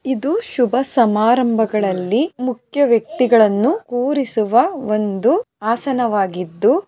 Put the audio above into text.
ಇದು ಶುಭ ಸಮಾರಂಭಗಳಲ್ಲಿ ಮುಖ್ಯ ವ್ಯಕ್ತಿಗಳನ್ನು ಕೂರಿಸುವ ಒಂದು ಆಸನವಾಗಿದ್ದು--